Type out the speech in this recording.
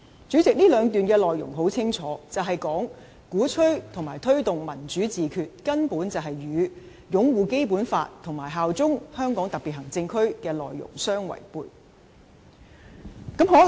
主席，這兩段內容很清楚，便是鼓吹或推動"民主自決"根本與擁護《基本法》和效忠香港特別行政區的內容相違背。